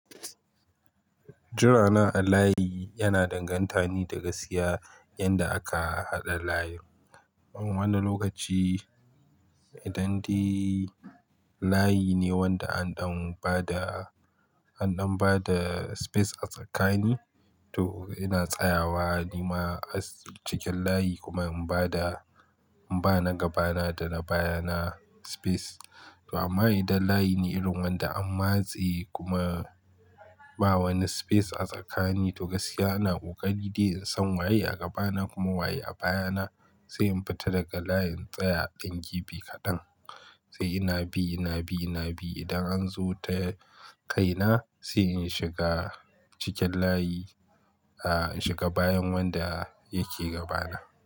Jirana a layi yana danganta ne daga siya yanda aka haɗa layin. Wani lokaci idan de layi ne wanda an ɗan ba da, an ɗan ba da space ne a tsakani to ina tsayawa ni ma cikin layi kuma in ba da, in ba na gaba na, da na baya na space. To amma idan layi ne irin wanda an matse, kuma ba wani space a tsakani, to gasiya ana ƙoƙari dai in san waye a gaba na kuma waye a baya na sai in fita daga layin, in tsaya ɗan gefe kaɗan. Sai ina bi, ina bi, ina bi idan an zo ta kai na sai in shiga cikin layi, a shiga bayan wanda yake gaba na.